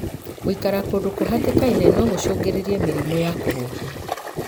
Gũikara kũndu kũhatikaine no gũcungĩrĩre mĩrimũ ya kũhuhia.